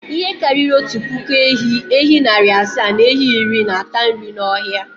Ihe karịrị otu puku ehi, ehi narị asa na ehi iri na-ata nri n’ọhịa.